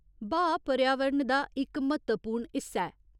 'ब्हाऽ' पर्यावरण दा इक म्हत्तवपूर्ण हिस्सा ऐ।